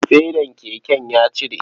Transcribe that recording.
Fedan keken ya cire.